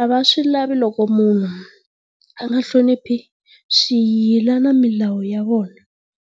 a va swi lavi loko munhu a nga hloniphi swiyila na milawu ya vona.